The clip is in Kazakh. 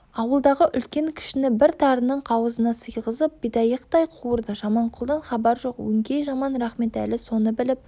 ауылдағы үлкен-кішіні бір тарының қауызына сыйғызып бидайықтай қуырды жаманқұлдан хабар жоқ өңкей жаман рахметәлі соны біліп